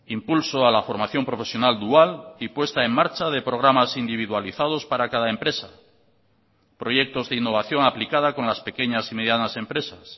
impulso a la formación profesional dual y puesta en marcha de programas individualizados para cada empresa proyectos de innovación aplicada con las pequeñas y medianas empresas